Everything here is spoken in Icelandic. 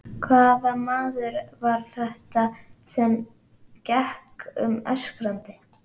Hvaða maður var þetta sem gekk um öskrandi?